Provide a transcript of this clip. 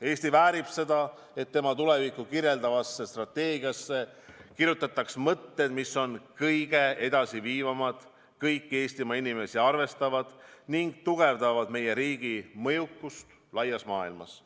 Eesti väärib seda, et tema tulevikku kirjeldavasse strateegiasse kirjutataks mõtted, mis on kõige edasi viivamad, kõiki Eestimaa inimesi arvestavad ning mis tugevdavad meie riigi mõjukust laias maailmas.